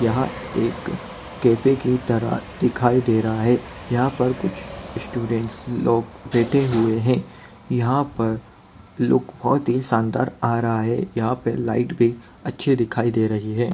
यहाँ एक कैफे की तरह दिखायी दे रहा है यहाँ पर कुछ स्टूडंट्स लोग बैठे हुए है यहाँ पर लुक बहोत ही शानदार आ रहा है यहाँ पे लाइट भी अच्छी दिखाई दे रही है।